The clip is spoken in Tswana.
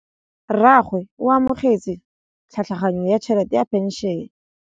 Rragwe o amogetse tlhatlhaganyô ya tšhelête ya phenšene.